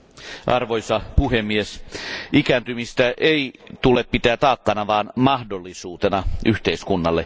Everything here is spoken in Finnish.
Arvoisa puhemies, ikääntymistä ei tule pitää taakkana vaan mahdollisuutena yhteiskunnalle.